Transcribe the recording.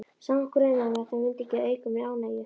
Samt grunaði mig að þær myndu ekki auka mér ánægju.